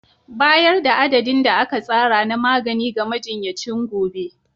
Bayar da adadin da aka tsara na magani ga majinyacin gobe.